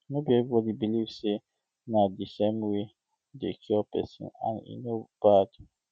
no be everybody believe um say na the same way dey cure person and e no bad um